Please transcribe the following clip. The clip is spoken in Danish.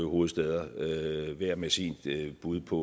hovedstæder hver med sit bud på